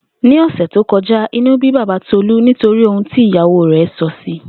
Ní ò̩sè̩ tó ko̩já, inú bí baba Tolú nítorí ohun tí ìyàwó rè̩ sò̩ sí i